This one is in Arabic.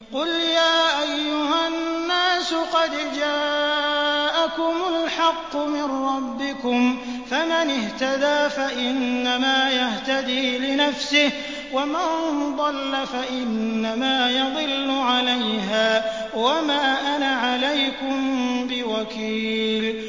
قُلْ يَا أَيُّهَا النَّاسُ قَدْ جَاءَكُمُ الْحَقُّ مِن رَّبِّكُمْ ۖ فَمَنِ اهْتَدَىٰ فَإِنَّمَا يَهْتَدِي لِنَفْسِهِ ۖ وَمَن ضَلَّ فَإِنَّمَا يَضِلُّ عَلَيْهَا ۖ وَمَا أَنَا عَلَيْكُم بِوَكِيلٍ